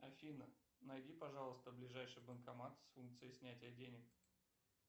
афина найди пожалуйста ближайший банкомат с функцией снятия денег